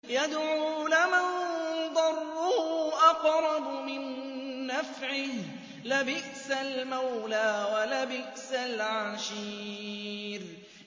يَدْعُو لَمَن ضَرُّهُ أَقْرَبُ مِن نَّفْعِهِ ۚ لَبِئْسَ الْمَوْلَىٰ وَلَبِئْسَ الْعَشِيرُ